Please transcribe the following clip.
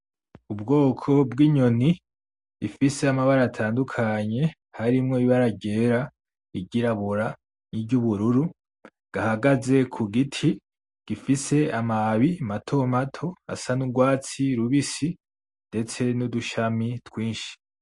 Ubwoko bw'inyoni ifise amabara atandukanye harimwo ibara ryera, iryirabura iry'ubururu gahagaze k'ugiti gifise amababi mato mato asa n'urwatsi rubisi ndetse n'udushami twinshi.